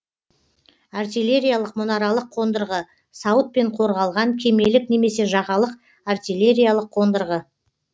артиллериялық мұнаралық қондырғы сауытпен қорғалған кемелік немесе жағалық артиллериялық қондырғы